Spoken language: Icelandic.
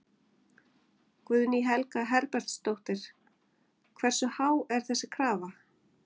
Guðný Helga Herbertsdóttir: Hversu há er þessi krafa?